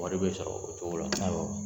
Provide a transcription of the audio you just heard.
Wari bɛ sɔrɔ o cogo la. Awɔ.